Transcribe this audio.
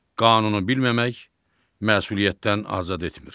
Qanunu bilməmək məsuliyyətdən azad etmir.